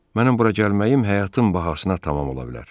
Mənim bura gəlməyim həyatım bahasına tamam ola bilər.